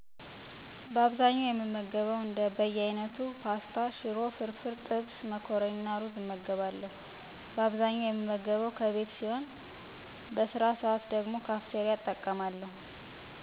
በአብዛኛው የምገበው እንደ በያይነቱ፣ ፖስታ፣ ሽሮ፣ ፍርፍር፣ ጥብስ፣ መኮረኒና እሩዝ እመገባለሁ። በአብዛኛው የምመገበው ከቤት ሲሆን በስራ ሰዓት ደግሞ ካፍቴሪያ እጠቀማለሁ።